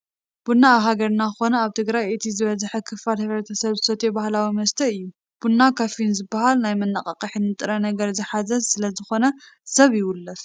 ቡና ኣብ ሃገርና ኮነ ኣብ ትግራይ እቲ ዝበዝሐ ክፋል ሕ/ሰብ ዝሰትዮ ባህላዊ መስተ እዩ፡፡ ቡና ካፊን ዝባሃል ናይ መነቓቕሒ ንጥረ ነገር ዝሓዘ ስለዝኾነ ሰብ ይውልፍ፡፡